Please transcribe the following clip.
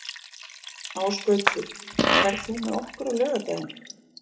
Ásgautur, ferð þú með okkur á laugardaginn?